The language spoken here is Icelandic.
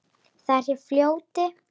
Það er hjá fljóti.